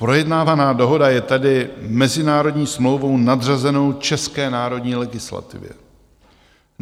Projednávaná dohoda je tady mezinárodní smlouvou nadřazenou české národní legislativě.